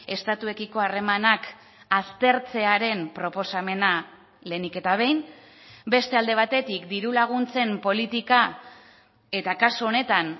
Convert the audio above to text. estatuekiko harremanak aztertzearen proposamena lehenik eta behin beste alde batetik diru laguntzen politika eta kasu honetan